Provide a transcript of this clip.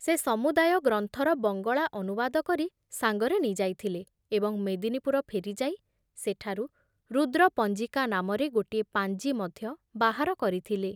ସେ ସମୁଦାୟ ଗ୍ରନ୍ଥର ବଙ୍ଗଳା ଅନୁବାଦ କରି ସାଙ୍ଗରେ ନେଇଯାଇଥିଲେ ଏବଂ ମେଦିନୀପୁର ଫେରିଯାଇ ସେଠାରୁ ରୁଦ୍ରପଞ୍ଜିକା ନାମରେ ଗୋଟିଏ ପାଞ୍ଜି ମଧ୍ୟ ବାହାର କରିଥିଲେ ।